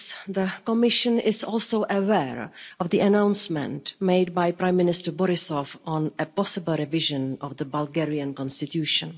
The Commission is also aware of the announcement made by Prime Minister Borisov on a possible revision of the Bulgarian Constitution.